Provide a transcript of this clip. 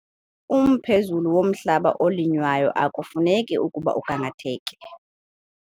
Umphezulu womhlaba olinywayo akufuneki ukuba ugangatheke